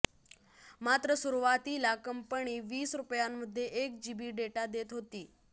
मात्र सुरुवातीला कंपनी वीस रुपयांमध्ये एक जीबी डेटा देत होती